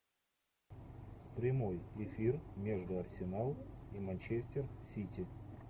прямой эфир между арсенал и манчестер сити